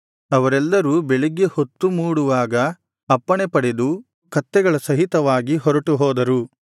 ಅವರೆಲ್ಲರೂ ಬೆಳಿಗ್ಗೆ ಹೊತ್ತು ಅವರು ಮೂಡುವಾಗ ಅಪ್ಪಣೆ ಪಡೆದು ಕತ್ತೆಗಳ ಸಹಿತವಾಗಿ ಹೊರಟುಹೋದರು